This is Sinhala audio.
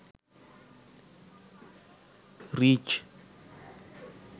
reach